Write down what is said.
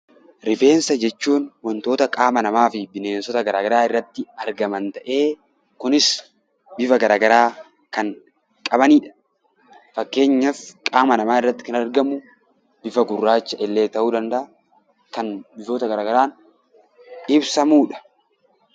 Rifeensa jechuun wantoota qaama namaa fi bineensota garaa garaa irratti argaman ta'ee, kunis bifa gara garaa kan qabanidha. Fakkeenyaaf qaama namaa irratti kan argamu bifa gurraacha illee ta'uu danda'a, kan bifoota gara garaan ibsamudha.